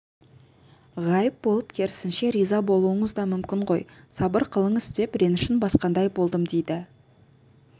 ғайып болып керісінше риза болуыңыз да мүмкін ғой сабыр қылыңыз деп ренішін басқандай болдым дейді